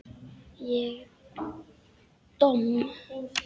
Ég domm?